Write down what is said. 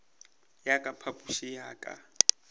ya ka phapošing ya ka